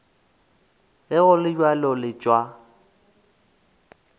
ge go le bjalo letšwa